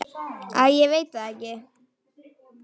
Æ, ég veit það ekki.